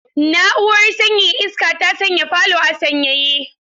Na'urar sanyaya iska ta sanya falo a sanyaye.